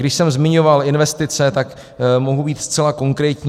Když jsem zmiňoval investice, tak mohu být zcela konkrétní.